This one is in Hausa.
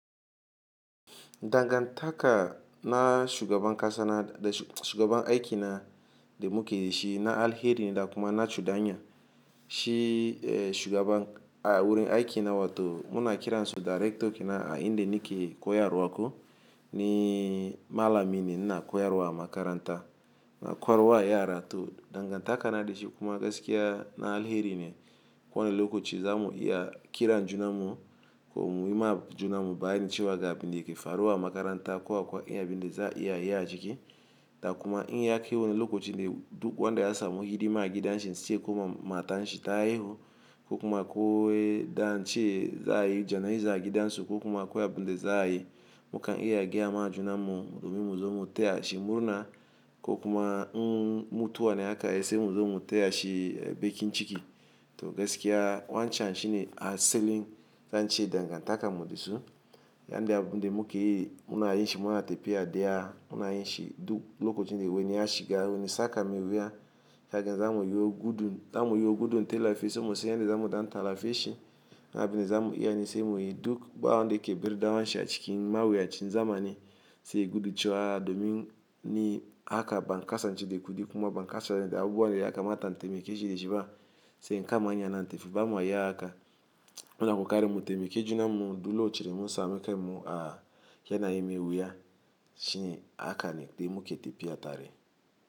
Dangantaka na shugaban kasa na da shugaban aiki na da muke yi shi na alheri ne da kuma na cudanya. Shi eh shugaban a wurin aiki na, wa to muna kiran su darekto kenan a inda nike koyarwa ko ni malami ne ina koyarwa a makaranta. Ina koyarwa yara to dangantaka na da shi kuma gaskiya na alheri ne. Ko wani lokaci zamu iya kiran junan mu ko mu yi ma junan mu bayani cewa ga abinda yake faruwa a makaranta ko akwai iya abinde za a iya yi a ciki. Da kuma in yi hakai wani lokaci ne duk wanda ya samu hidima a gidan shi in siye ko kuma mata shi ta haihu ko kuma akoi da an ce za a yi jana'iza a gidan su ko kuma akwai abinde za a yi. Mukan iya gaya ma junan mu domin mu zo mu taya shi murna ko kuma in mutuwa ne haka ai sai mu zo mu taya shi bekin ciki. To gaskiya wancan shine asalin zan ce dangantakan mu dasu. Yanda abinde muke yi muna yin shi muna tafiya daya, muna yin shi duk lokacin da wani ya shiga wani tsaka mai wuya. Haka zamu yi yo gudun zamu yo gudun, tellafi sai mu san yanda zamu dan tallafe shi. Duk abun da za mu iya, sai mu yi, duk ba wanda ya ke bar danuwan shi a cikin mawuyacin zamani. Sai ta gudu cewa domin ni haka ban kasance da kudi kuma ban kasa da abubuwan ya kamata tamaike shi da shi ba sai in kama hanya na tafi bamu yin haka. Muna kokarin mu taimake junan mu duk locakin da mun same kain mu a yanayin mai wuya, shi ne haka ne mu ke tafiya tare.